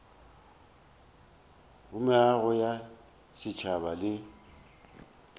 go meago ya setšhaba le